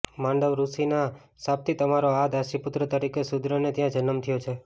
માંડવ્યઋષિના શાપથી તમારો આ દાસીપુત્ર તરીકે શુદ્રને ત્યાં જન્મ થયો છે